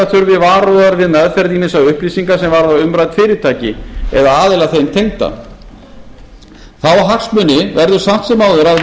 þurfi varúðar við meðferð ýmissa upplýsinga sem varða umrædd fyrirtæki eða aðila þeim tengda þá hagsmuni verður samt sem áður að